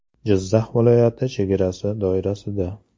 Jizzax viloyati chegarasi doirasida.